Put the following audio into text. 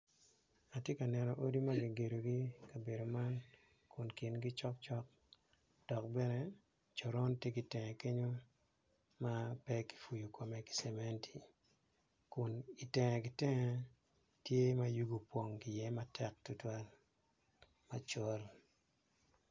Atye ka neno odi ma kigedogi i ka bedo man kun kingi cokcok dok bene coron tye ki itenge kenyo ma pe ki puyu kome ki cementi kun itenge ki tenge tye ma yugi opong iye matek tutwal macol